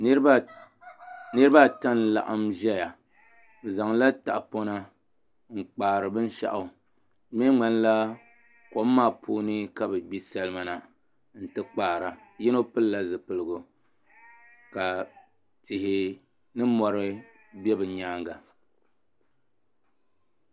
Niraba ata n laɣam ʒɛya bi zaŋla tahapona n kpaari binshaɣu di mii ŋmanila kom maa puuni ka bi gbi salima na n ti kpaara yino pilila zipiligu ka tihi ni mori bɛ bi nyaanga